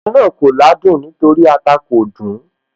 Oúnjẹ náà kò ládùn nítorí ata kò dùn ún